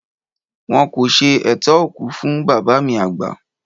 Wọn kò ṣe ètò òkú fún bàbá mi àgbà